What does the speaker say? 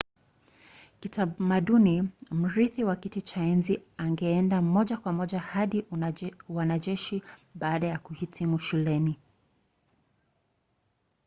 kitamaduni mrithi wa kiti cha enzi angeenda moja kwa moja kwa uanajeshi baada ya kuhitimu shuleni